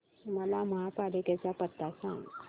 मला महापालिकेचा पत्ता सांग